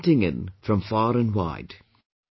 People are writing in from far and wide